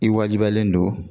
I wajibiyalen don